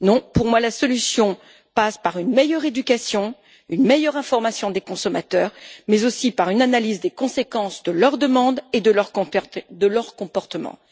Pour moi, la solution passe par une meilleure éducation et une meilleure information des consommateurs, sans oublier une analyse des conséquences de leurs demandes et de leurs comportements.